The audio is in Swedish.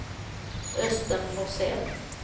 Östen Forsell